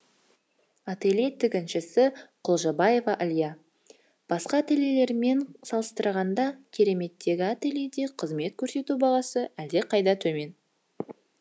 ателье тігіншісі құлжабаева алия басқа ательелелермен салыстырғанда кереметтегі ательеде қызмет көрсету бағасы әлдеқайда төмен